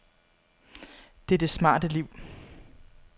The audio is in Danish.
Det er det smarte liv.